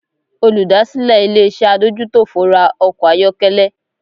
Olùdásílẹ̀ ilé-iṣẹ́ adójútòfò ra ọkọ̀ ayọ́kẹ́lẹ́